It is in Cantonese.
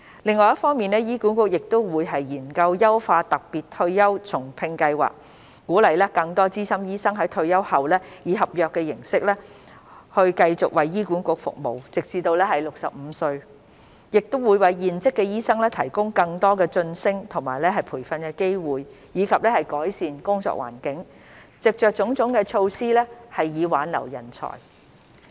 另一方面，醫管局會研究優化特別退休後重聘計劃，鼓勵更多資深醫生在退休後以合約形式繼續為醫管局服務直至65歲，亦會為現職醫生提供更多晉升及培訓機會，以及改善工作環境，藉着種種措施挽留人才。